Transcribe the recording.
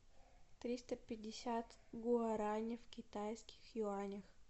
триста пятьдесят гуарани в китайских юанях